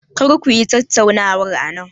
Kar ku yi tattaunawar anan.